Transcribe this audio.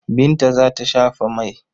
Binta za ta shafa mai.